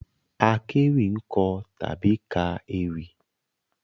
Àkéwì ń kọ tàbí ka ewì